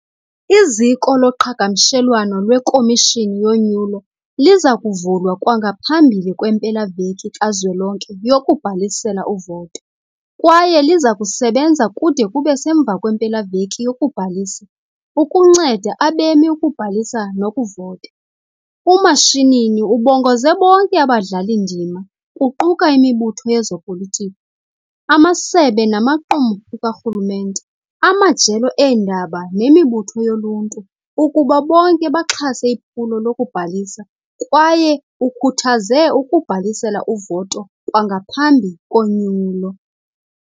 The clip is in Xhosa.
Iziko loqhagamshelwano lweKhomishini yoNyulo liza kuvulwa kwangaphambili kwempela-veki kazwelonke yokubhalisela uvoto kwaye liza kusebenza kude kube semva kwempela-veki yokubhalisa ukunceda abemi ukubhalisa nokuvota. UMashinini ubongoze bonke abadlali-ndima kuquka imibutho yezopolitiko, amasebe namaqumrhu karhulumente, amajelo eendaba nemibutho yoluntu ukuba bonke baxhase iphulo lokubhalisa kwaye ukhuthaze ukubhalisela uvoto kwangaphambi konyulo.